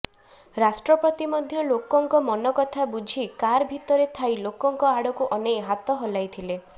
ରାଷ୍ଟ୍ରପତି ମଧ୍ୟ ଲୋକଙ୍କ ମନ କଥା ବୁଝି କାର୍ ଭିତରେ ଥାଇ ଲୋକଙ୍କ ଆଡ଼କୁ ଅନେଇ ହାତ ହଲାଇଥିଲେ